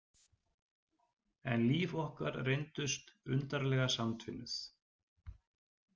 En líf okkar reyndust undarlega samtvinnuð.